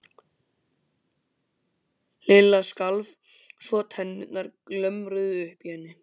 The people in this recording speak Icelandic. Lilla skalf svo að tennurnar glömruðu uppi í henni.